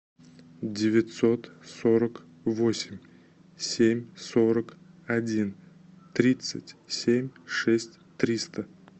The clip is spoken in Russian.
девятьсот сорок восемь семь сорок один тридцать семь шесть триста